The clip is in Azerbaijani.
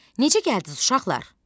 Necə gəldiniz uşaqlar?